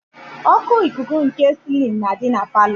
Oku ikuku nke silin na adị na palọ.